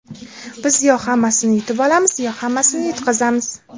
Biz yo hammasini yutib olamiz, yo hammasini yutqazamiz”.